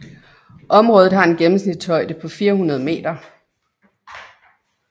Området har en gennemsnitshøjde på 400 meter